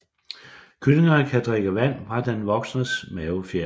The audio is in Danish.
Kyllingerne kan drikke vand fra den voksnes mavefjer